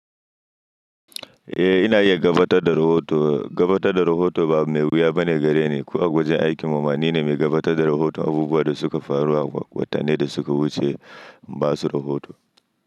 Eh ina iya gabatar da rahoto, gabatar da rahoto ba abu mai wuya bane gare ni. Ko a awajen aikin mu, ma ni ne mai gabatar da rahoton abubuwan da suka faru a watanni da suka wuce ba su rahoto.